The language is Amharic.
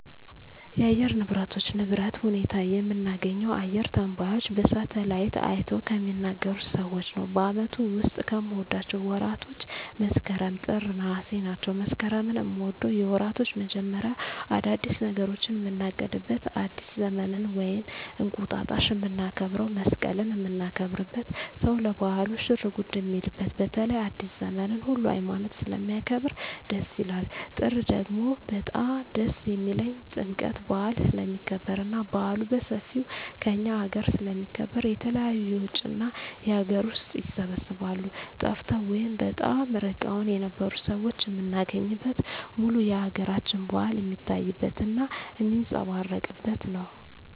የአየር ንብረቶች ንብረት ሁኔታ የምናገኘው አየረ ተነባዩች በሳሀትአላይት አይተው ከሚናገሩት ሰዎች ነው በአመቱ ዉስጥ ከምወዳቸው ወራቶች መስከረም ጥር ነሃሴ ናቸው መስከረምን ምወደው የወራቶች መጀመሪያ አዳዲስ ነገሮችን ምናቅድበት አዲስ ዘመንን ወይም እንቁጣጣሽ ምናከብረው መሰቀልን ምናከብርበት ሰው ለባህሉ ሽርጉድ ሚልበት በተለይ አዲሰ ዘመንን ሁሉ ሀይማኖት ስለሚያከብር ደስ ይላል ጥር ደግሞ በጣም ደስ የሚልኝ ጥምቀት በአል ስለሚከበር እና በአሉ በሠፌው ከእኛ አገረ ስለሚከበር የተለያዩ የውጭ እና የአገር ውስጥ ይሰባሰባሉ ጠፍተው ወይም በጣም እርቀዉን የነበሩ ሠዎች ምናገኝበት ሙሉ የአገራችን በአል ሜታይበት እና ሜጸባረቅበት ነው